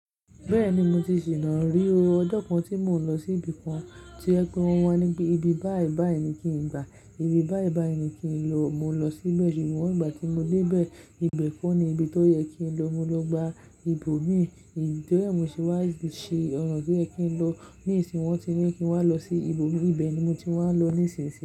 Bẹ́ẹ̀ni, mo ti sì ná rí o. Ọjọ́ kan tí mò ń lọ sí ibì kan, tí o je pe wọn wá nípe, ibi báì báì ni kí n gba, ibi báì báì ni kí n lọ, mò ń lọ síbẹ̀ ṣùgbọ́n ìgbà tí mo dé bẹ́ẹ̀, ibẹ̀ kọ́ ni ibi tó yẹ kí n lọ, mo lọ gba ibò mi, èyí tó ri ẹ̀ mo ṣé wá ṣí ọ̀nà tó yẹ kí n lọ, ní ìsinmi wọ́n ti ni pé kí n wá lọ sí ibò mi, ibẹ̀ ni mo ti wá ń lọ nísìnsìnyí.